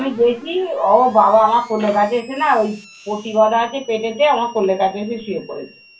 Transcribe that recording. দেখি ও বাবা আমার কোলের কাছে এসে না ওই পটি বাঁধা আছে পেটেতে। আমার কোলের কাছে এসে শুয়ে পড়েছে।